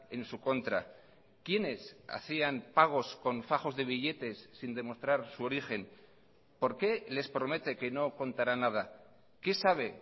en su contra quiénes hacían pagos con fajos de billetes sin demostrar su origen por qué les promete que no contará nada qué sabe